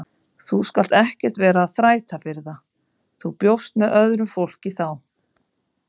Þú skalt ekkert vera að þræta fyrir það, þú bjóst með öðru fólki þá!